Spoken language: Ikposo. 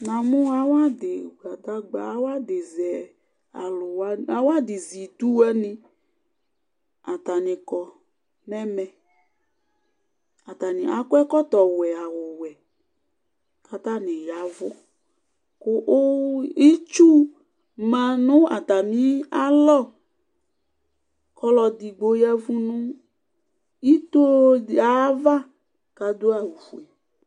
Namʋ awʋ adizɛ idʋ wani atani kɔ nʋ ɛmɛ atani akɔ ɛkɔtɔ ɔwɛ awʋwɛ kʋ atani ya ɛvʋ kʋ itsu manʋ atami alɔ kʋ ɔlʋ edigbo ya ɛvʋ nʋ ito di ayʋ ava kʋ adʋ awʋfue